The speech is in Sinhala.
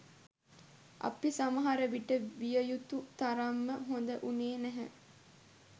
අපි සමහර විට විය යුතු තරම්ම හොඳ වුණේ නැහැ.